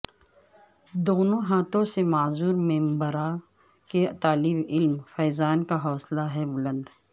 دونوں ہاتھوں سے معذورممبرا کے طالب علم فیضان کا حوصلہ ہے بلند